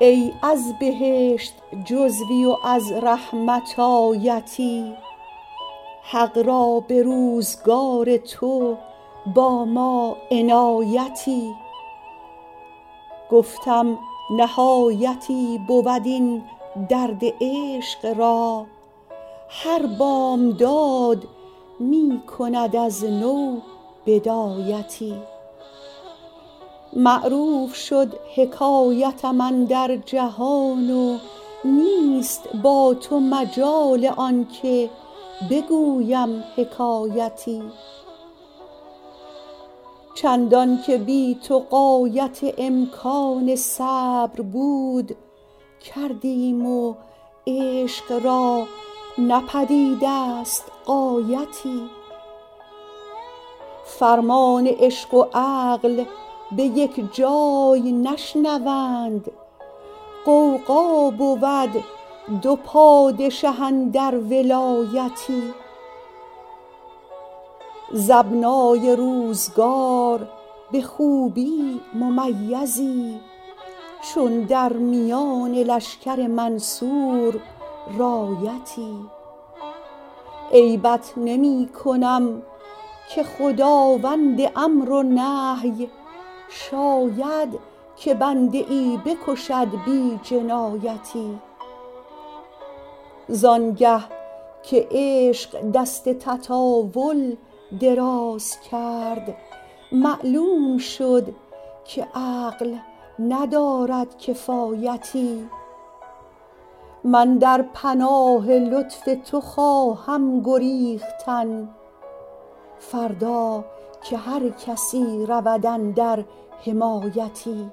ای از بهشت جزوی و از رحمت آیتی حق را به روزگار تو با ما عنایتی گفتم نهایتی بود این درد عشق را هر بامداد می کند از نو بدایتی معروف شد حکایتم اندر جهان و نیست با تو مجال آن که بگویم حکایتی چندان که بی تو غایت امکان صبر بود کردیم و عشق را نه پدید است غایتی فرمان عشق و عقل به یک جای نشنوند غوغا بود دو پادشه اندر ولایتی ز ابنای روزگار به خوبی ممیزی چون در میان لشکر منصور رایتی عیبت نمی کنم که خداوند امر و نهی شاید که بنده ای بکشد بی جنایتی زان گه که عشق دست تطاول دراز کرد معلوم شد که عقل ندارد کفایتی من در پناه لطف تو خواهم گریختن فردا که هر کسی رود اندر حمایتی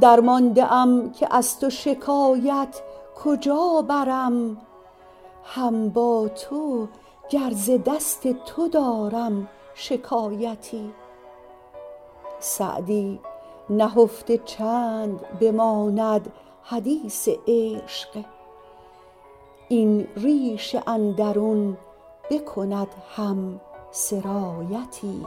درمانده ام که از تو شکایت کجا برم هم با تو گر ز دست تو دارم شکایتی سعدی نهفته چند بماند حدیث عشق این ریش اندرون بکند هم سرایتی